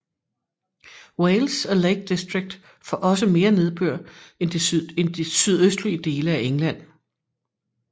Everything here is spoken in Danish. Wales og Lake District får også mere nedbør end sydøstlige dele af England